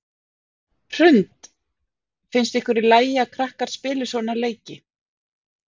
Hrund: Finnst ykkur í lagi að krakkar spili svona leiki?